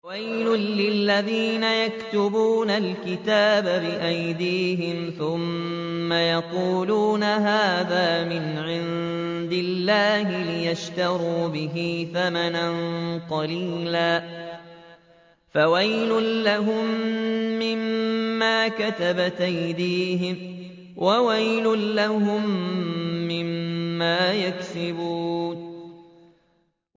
فَوَيْلٌ لِّلَّذِينَ يَكْتُبُونَ الْكِتَابَ بِأَيْدِيهِمْ ثُمَّ يَقُولُونَ هَٰذَا مِنْ عِندِ اللَّهِ لِيَشْتَرُوا بِهِ ثَمَنًا قَلِيلًا ۖ فَوَيْلٌ لَّهُم مِّمَّا كَتَبَتْ أَيْدِيهِمْ وَوَيْلٌ لَّهُم مِّمَّا يَكْسِبُونَ